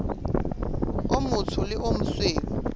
o motsho le o mosweu